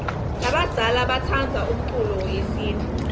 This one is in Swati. labadzala batsandza umculo yesintfu